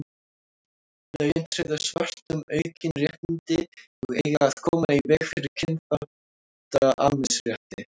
lögin tryggðu svörtum aukin réttindi og eiga að koma í veg fyrir kynþáttamisrétti